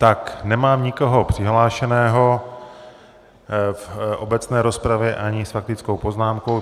Tak nemám nikoho přihlášeného v obecné rozpravě ani s faktickou poznámkou.